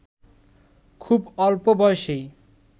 খুব অল্প বয়সেই